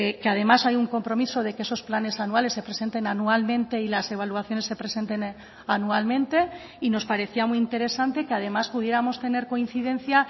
que además hay un compromiso de que esos planes anuales se presenten anualmente y las evaluaciones se presenten anualmente y nos parecía muy interesante que además pudiéramos tener coincidencia